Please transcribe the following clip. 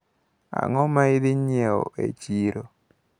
Ang`o maidhi nyiewo e chiro?